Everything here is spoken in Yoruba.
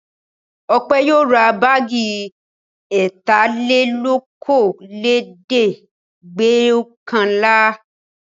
Ọpẹ́ yóò ra báágì ẹ̀tàlelókòólẹ́ẹ̀dẹ́gbẹ̀ọ̀kànlá.